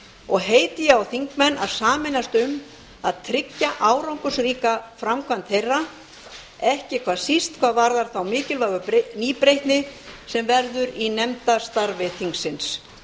og heiti ég á þingmenn að sameinast um að tryggja árangursríka framkvæmd þeirra ekki síst hvað varðar þá mikilvægu nýbreytni sem verður í nefndastarfi þingsins